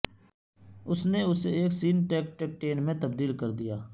اس نے اسے ایک سنٹیکٹیکٹین میں تبدیل کر دیا